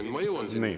Ma kohe jõuan selleni.